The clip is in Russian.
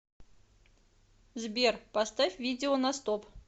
сбер поставь видео на стоп